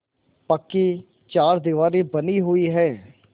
पक्की चारदीवारी बनी हुई है